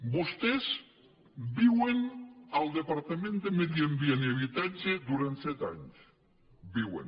vostès viuen al departament de medi ambient i habitatge durant set anys hi viuen